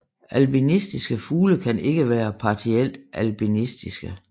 Albinistiske fugle kan ikke være partielt albinistiske